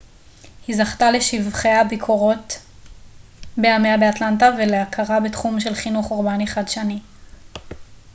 היא זכתה לשבחי הביקורת בימיה באטלנטה ולהכרה בתחום של חינוך אורבני חדשני